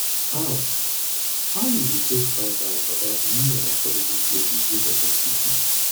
how how you dey take find out about new and affordable places wey pesin fit eat